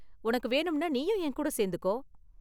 உனக்கு வேணும்னா நீயும் என் கூட சேர்ந்துக்கோ.